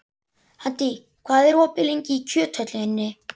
Haddý, hvað er opið lengi í Kjöthöllinni?